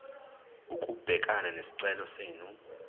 ukubhekana nesicelo senu